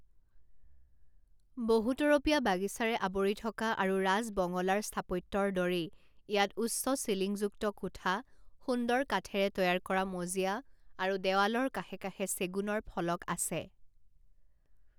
বহুতৰপীয়া বাগিচাৰে আৱৰি থকা আৰু ৰাজ বঙলা ৰ স্থাপত্যৰ দৰেই ইয়াত উচ্চ চিলিংযুক্ত কোঠা, সুন্দৰ কাঠেৰে তৈয়াৰ কৰা মজিয়া আৰু দেৱালৰ কাষে কাষে চেগুনৰ ফলক আছে।